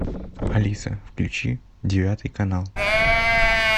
алиса включи девятый канал